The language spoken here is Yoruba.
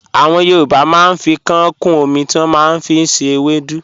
Àwọn Yorùbá màá n fi kàán kún ọmí tí wọ́n màá n fi ṣẹ̀ èwèdú.